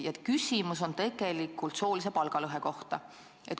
Mu küsimus aga on soolise palgalõhe kohta.